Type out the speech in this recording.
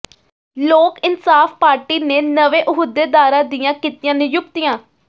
ਲੋਕ ਇੰਨਸਾਫ ਪਾਰਟੀ ਨੇ ਨਵੇਂ ਅਹੁਦੇਦਾਰਾਂ ਦੀਆਂ ਕੀਤੀਆਂ ਨਿਯੁਕਤੀਆਂ